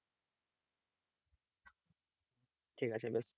ঠিক আছে।